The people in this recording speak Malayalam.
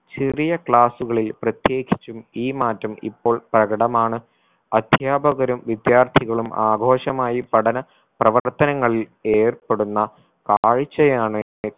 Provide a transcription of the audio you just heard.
ചെറിയ class കളിൽ പ്രത്യേകിച്ചും ഈ മാറ്റം ഇപ്പോൾ പ്രകടമാണ് അധ്യാപകരും വിദ്യാർത്ഥികളും ആഘോഷമായി പഠന പ്രവർത്തനങ്ങളിൽ ഏർപ്പെടുന്ന കാഴ്ചയാണ്